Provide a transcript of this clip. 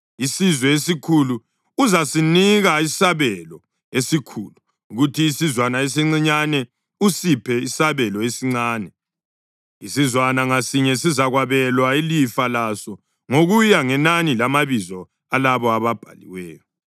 Isizwe esikhulu uzasinika isabelo esikhulu, kuthi isizwana esincinyane usiphe isabelo esincane; isizwana ngasinye sizakwabelwa ilifa laso ngokuya ngenani lamabizo alabo ababhaliweyo.